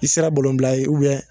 I sera bila ye